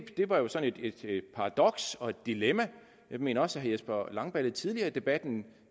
var jo sådan et et paradoks og et dilemma jeg mener også at herre jesper langballe tidligere i debatten